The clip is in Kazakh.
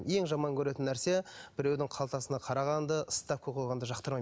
ең жаман көретін нәрсе біреудің қалтасына қарағанды ставка қойғанды жақтырмаймын